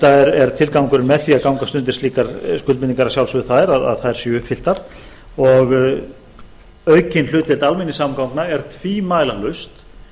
enda er tilgangurinn með því að gangast undir slíkar skuldbindingar að sjálfsögðu þær að þær séu uppfylltar og aukin hlutdeild almenningssamgangna er tvímælalaust